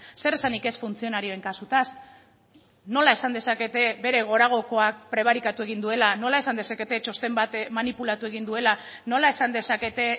zeresanik ez funtzionarioen kasutaz nola esan dezakete bere goragokoak prebarikatu egin duela nola esan dezakete txosten bat manipulatu egin duela nola esan dezakete